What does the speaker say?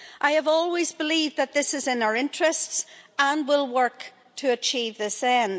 I have always believed that this is in our interests and will work to achieve this end.